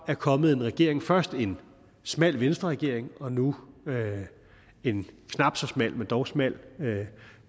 er kommet en regering først en smal venstreregering og nu en knap så smal men dog smal